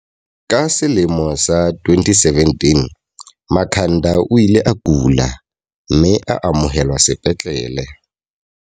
Ka selemo sa 2017, Makhanda o ile a kula, mme a amohelwa sepetlele.